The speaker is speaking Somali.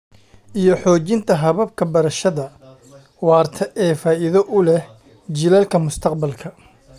iyo xoojinta hababka beerashada waarta ee faa'iido u leh jiilalka mustaqbalka.